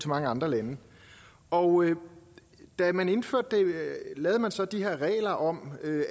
mange andre lande og da man indførte det lavede man så de her regler om